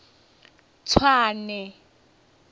tswane